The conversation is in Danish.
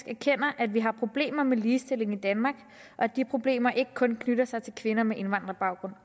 erkender at vi har problemer med ligestillingen i danmark og at de problemer ikke kun knytter sig til kvinder med indvandrerbaggrund